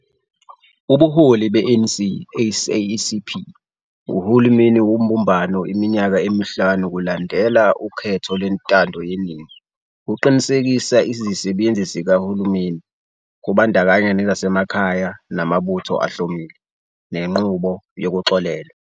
Ubuholi be-ANC - SACP - uhulumeni wobumbano iminyaka emihlanu kulandela ukhetho lwentando yeningi, uqinisekisa izisebenzi zikahulumeni, kubandakanya nezasemakhaya namabutho ahlomile, nenqubo yokuxolelwa.